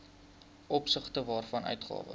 opsigte waarvan uitgawes